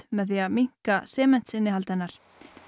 með því að minnka sementsinnihald hennar